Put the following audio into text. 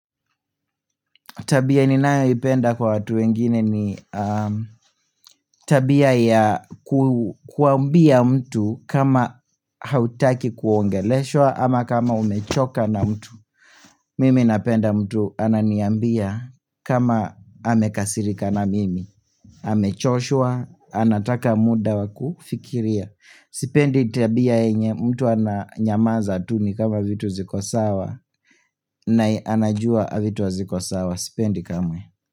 Tabia ninayoipenda kwa watu wengine ni tabia ya kuambia mtu kama hautaki kuongeleshwa ama kama umechoka na mtu. Mimi napenda mtu ananiambia kama amekasirika na mimi. Amechoshwa, anataka muda wa kufikiria. Sipendi tabia yenye mtu ananyamaza tu ni kama vitu ziko sawa na anajua vitu haziko sawa, sipendi kamwe.